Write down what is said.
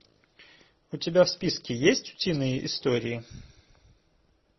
у тебя в списке есть утиные истории